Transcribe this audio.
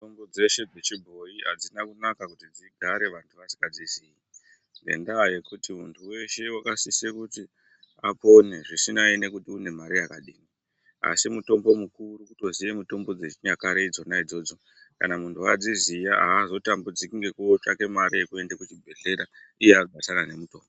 Mitombo dzeshe dzechibhoyi adzina kunaka kuti dzigare vantu vasikadzizii ngendaa yekuti muntu weshe wakasise kuti apone zvisinei nekuti une mari yakadini asi mutombo mukuru kutoziya mitombo dzechinyakare idzona idzodzo kana muntu adziziya azotambudziki ngekotsvake mare yekuenda kuzvibhedhlera iye akazara ngemitombo.